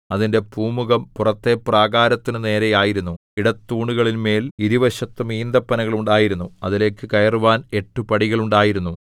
അതിന്റെ പൂമുഖം പുറത്തെ പ്രാകാരത്തിനു നേരെ ആയിരുന്നു ഇടത്തൂണുകളിന്മേൽ ഇരുവശത്തും ഈന്തപ്പനകൾ ഉണ്ടായിരുന്നു അതിലേക്ക് കയറുവാൻ എട്ട് പടികൾ ഉണ്ടായിരുന്നു